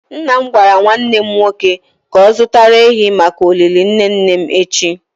Nna m gwara nwanne m nwoke ka o zutara ehi maka olili nne nne m echi.